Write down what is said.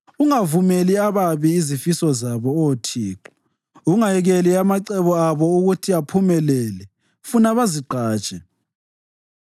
ungavumeli ababi izifiso zabo Oh Thixo; ungayekeli amacebo abo ukuthi aphumelele, funa bazigqaje.